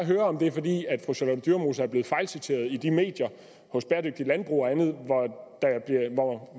høre om det er fordi fru charlotte dyremose er blevet fejlciteret i de medier hos bæredygtigt landbrug og andet